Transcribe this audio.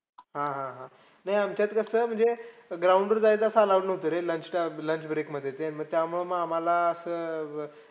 हा हा हा. नाही आमच्यात कसं ground वर जायचं असं allowed नव्हतं रे lunch time lunch break मध्ये ते त्यामुळे आम्हांला असं अं